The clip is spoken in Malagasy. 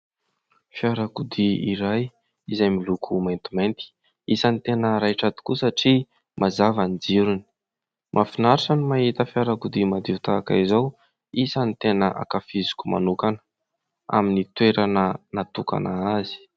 Fiarakodia iray izay miloko maintimainty, isan'ny tena raitra tokoa satria mazava ny jirony. Mahafinaritra no mahita fiarakodia madio tahaka izao; isan'ny tena hankafiziko manokana, amin'ny toerana natokana azy